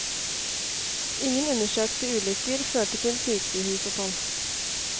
Ingen undersøkte ulykker førte til sykehusopphold.